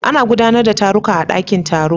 Ana gudanar da taruka a ɗaƙin taro.